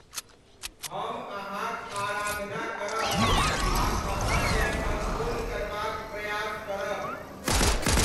हम अहाँक आराधना करब आ अहाँकेँ सम्पूर्ण करबाक प्रयास करब।